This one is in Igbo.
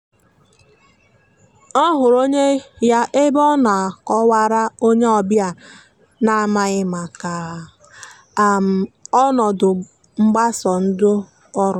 ọ hụrụ onye ya ebe ọ na akọ wara onye ọbịa na n'amaghi maka ọnọdụ mgbasa ndị ọrụ.